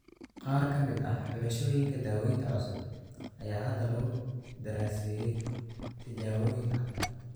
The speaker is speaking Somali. Qaar ka mid ah xulashooyinka daawaynta cusub ayaa hadda lagu daraaseeyay tijaabooyin caafimaad.